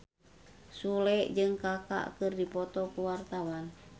Sule jeung Kaka keur dipoto ku wartawan